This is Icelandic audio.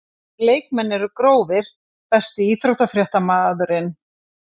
Allir leikmenn eru grófir Besti íþróttafréttamaðurinn?